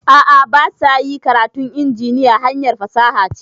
A'a basa yi, karatun injiniya hanyar fasaha ce